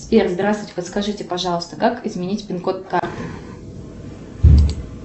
сбер здравствуйте подскажите пожалуйста как изменить пин код карты